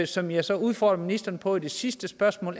som jeg så udfordrer ministeren på i det sidste spørgsmål